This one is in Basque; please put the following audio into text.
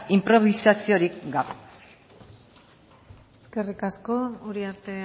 inprobisaziorik gabe eskerrik asko uriarte